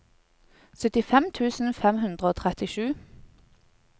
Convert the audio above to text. syttifem tusen fem hundre og trettisju